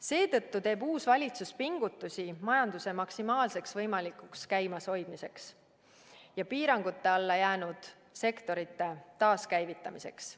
Seetõttu teeb uus valitsus pingutusi majanduse maksimaalseks võimalikuks käimashoidmiseks ja piirangute alla jäänud sektorite taaskäivitamiseks.